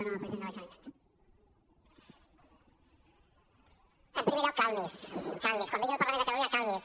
en primer lloc calmi’s calmi’s quan vingui al parlament de catalunya calmi’s